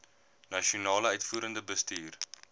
nasionale uitvoerende bestuur